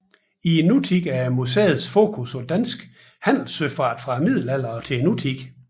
I nutiden er museets fokus på dansk handelssøfart fra middelalderen og til nutiden